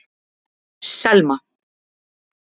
Selma